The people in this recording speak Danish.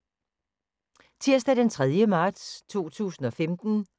Tirsdag d. 3. marts 2015